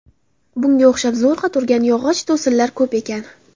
Bunga o‘xshab zo‘rg‘a turgan yog‘och to‘sinlar ko‘p ekan.